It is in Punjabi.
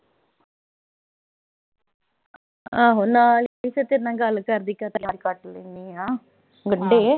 ਆਹੋ ਨਾਲ ਫਿਰ ਤੇਰੇ ਨਾਲ ਗੱਲ ਕਰਦੀ-ਕਰਦੀ ਕੱਟੀ ਲੈਨੀ ਆਂ।